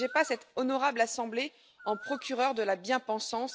N'érigez pas cette honorable assemblée en procureur de la bien pensance.